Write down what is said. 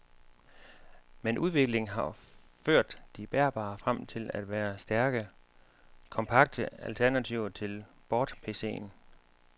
Men udviklingen har ført de bærbare frem til at være stærke, kompakte alternativer til bordPCen.